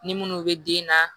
Ni minnu bɛ den na